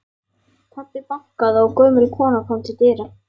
Pabbi bankaði og gömul kona kom til dyra.